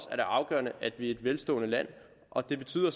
er det afgørende at vi er et velstående land og det betyder